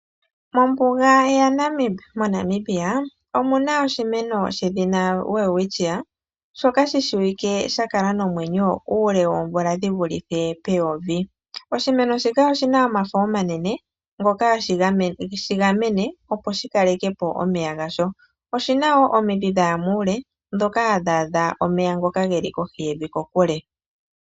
Mombuga yaNamib moNamibia omuna oshimeno she dhina Welwitchia shoka shi shiwike sha kala nomwenyo uule woomvula dhi vulithe peyovi . Oshimeno shika oshi na omafo omanene, ngoka ha ge shigamene opo shi kale ke po omeya gasho. Oshi na woo omidhi dhaya muule dhoka ha dhaadha omeya ngoka ge li kohi yevi kokule.